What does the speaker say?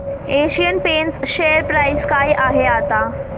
Asian paints share price काय आहे आता